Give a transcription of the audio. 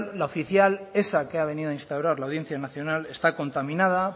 la oficial esa que ha venido a instaurar la audiencia nacional está contaminada